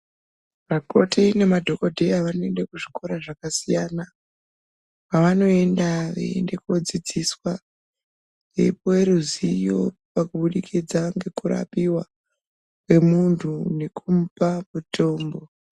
Makoti nemadhokodheya vanoenda kuzvikora zvakasiyana siyana, kwavanoenda veifundiswa, kupuwa ruzivo kuburikidza ngekurapiwa kwemuntu nekumupa mutombo.